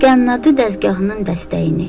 Qənnadı dəzgahının dəstəyini.